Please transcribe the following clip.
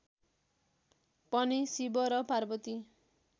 पनि शिव र पार्वती